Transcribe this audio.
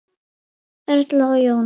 Erla og Jón.